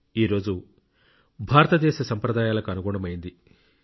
ఈ రోజు భారతదేశ సంప్రదాయాలకు అనుగుణమైంది